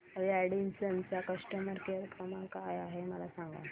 Radisson चा customer care क्रमांक काय आहे मला सांगा